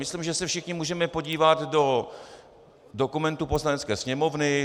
Myslím, že se všichni můžeme podívat do dokumentů Poslanecké sněmovny.